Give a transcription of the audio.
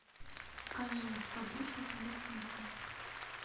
покажи подружка пэрис хилтон